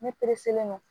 Ne don